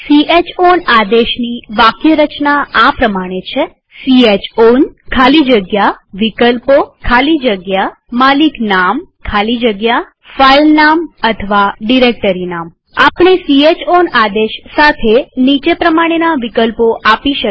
chown આદેશની વાક્યરચના આ પ્રમાણે છે160 ચાઉન ખાલી જગ્યા વિકલ્પો ખાલી જગ્યા માલિકનામ ખાલી જગ્યા ફાઈલનામ અથવા ડિરેક્ટરીનામ આપણે ચાઉન આદેશ સાથે નીચે પ્રમાણેના વિકલ્પો આપી શકીએ